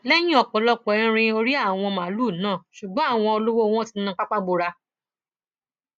lẹyìn ọpọlọpọ irin ò rí àwọn màálùú náà ṣùgbọn àwọn olówó wọn ti na pápá bora